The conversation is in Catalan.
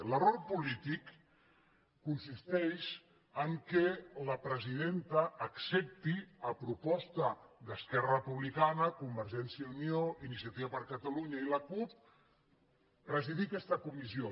l’error polític consisteix en el fet que la presidenta accepti a pro·posta d’esquerra republicana convergència i unió iniciativa per catalunya i la cup presidir aquesta comissió